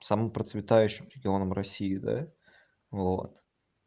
самым процветающим регионом россии да вот